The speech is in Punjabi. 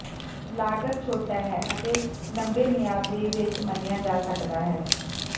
ਲਾਗਤ ਛੋਟਾ ਹੈ ਅਤੇ ਲੰਬੇ ਮਿਆਦ ਦੇ ਵਿੱਚ ਮੰਨਿਆ ਜਾ ਸਕਦਾ ਹੈ